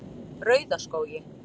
Rauðaskógi